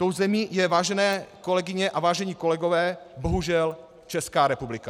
Tou zemí je, vážené kolegyně a vážení kolegové, bohužel Česká republika.